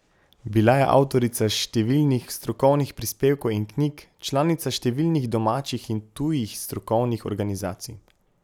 Bila je avtorica številnih strokovnih prispevkov in knjig, članica številnih domačih in tujih strokovnih organizacij.